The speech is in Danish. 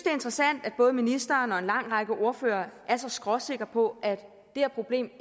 er interessant at både ministeren og en lang række ordførere er så skråsikre på at det her problem